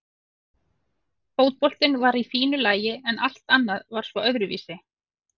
Fótboltinn var í fínu lagi en allt annað var svo öðruvísi.